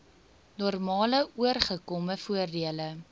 normale ooreengekome voordele